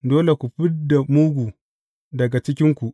Dole ku fid da mugu daga cikinku.